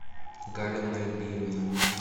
галя нальбиевна